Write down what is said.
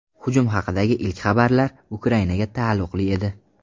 Hujum haqidagi ilk xabarlar Ukrainaga taalluqli edi .